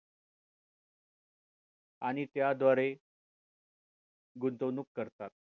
अन त्याद्वारे गुंतवणूक करतात